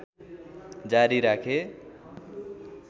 जारी राखे